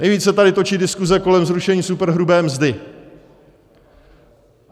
Nejvíc se tady točí diskuse kolem zrušení superhrubé mzdy.